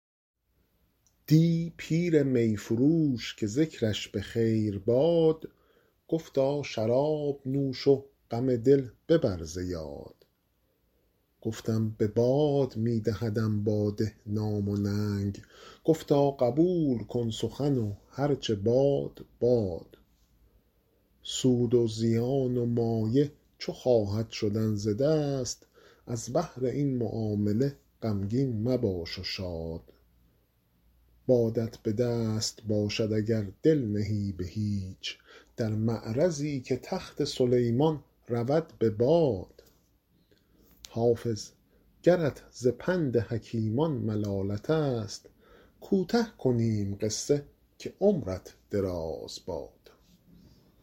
دی پیر می فروش که ذکرش به خیر باد گفتا شراب نوش و غم دل ببر ز یاد گفتم به باد می دهدم باده نام و ننگ گفتا قبول کن سخن و هر چه باد باد سود و زیان و مایه چو خواهد شدن ز دست از بهر این معامله غمگین مباش و شاد بادت به دست باشد اگر دل نهی به هیچ در معرضی که تخت سلیمان رود به باد حافظ گرت ز پند حکیمان ملالت است کوته کنیم قصه که عمرت دراز باد